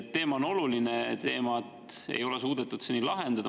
Teema on oluline, aga seda ei ole suudetud seni lahendada.